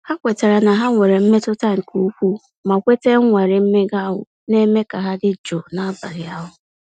Ha kwetara na ha nwere mmetụta nke ukwuu, ma kweta ịnwale mmega ahụ na-eme ka ha dị jụụ n'abalị ahụ.